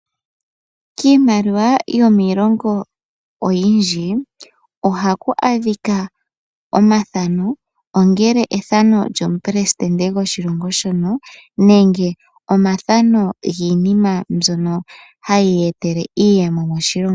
Kiimaliwa yomiilongo oyindji, ohaku adhika omathano. Ongele ethano lyomupelesidente gwoshilongo shono, nenge omathano giinima mbyono hayi etitha iiyemo moshilongo.